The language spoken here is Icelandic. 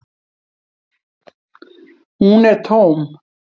Hún er tóm.